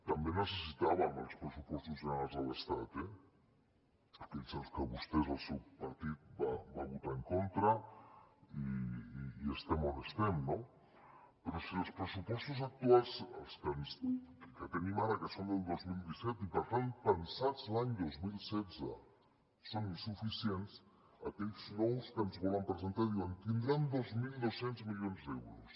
també necessitàvem els pressupostos generals de l’estat eh aquells que el seu partit va votar en contra i estem on estem no però si els pressupostos actuals els que tenim ara que són del dos mil disset i per tant pensats l’any dos mil setze són insuficients aquells nous que ens volen presentar diuen tindran dos mil dos cents milions d’euros